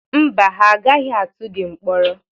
Mba, ha agaghị atụ gị mkpọrọ.